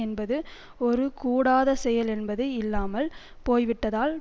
என்பது ஒரு கூடாத செயல் என்பது இல்லாமல் போய்விட்டதால்